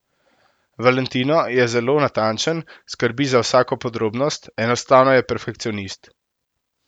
Valentino je zelo natančen, skrbi za vsako podrobnost, enostavno je perfekcionist.